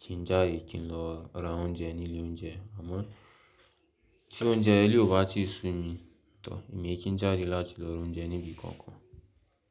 kí n jáde kí n lọ ra oúnjẹ ní ilé oúnjẹ. Àmọ́ tí oúnjẹ ilé ò bá ti sú mi tọọ̀, èmi ẹ kín jáde láti lọ ra oúnjẹ níbi kankan.